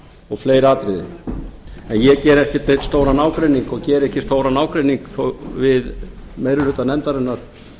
og fleiri atriði en ég geri ekki stóran ágreining og geri ekki stóran ágreining þó við meiri hluta nefndarinnar